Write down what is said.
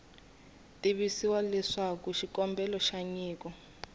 tivisiwa leswaku xikombelo xa nyiko